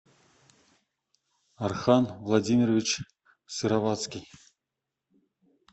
архан владимирович сыроватский